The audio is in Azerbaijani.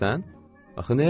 Axı nəyə görə?